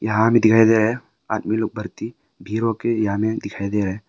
यहां भी दिखाई दे रहा है आदमी लोग भारती दिखाई दे रहा है।